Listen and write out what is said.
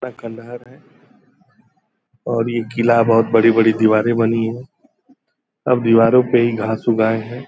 पूरा खंडहर है और ये किला बहुत बड़ी-बड़ी दीवारें बनी हैं। सब दीवारों पर ही घांस उग आये हैं।